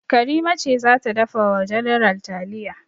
Karima ce za ta dafa wa general taliya.